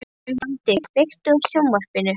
Ferdinand, kveiktu á sjónvarpinu.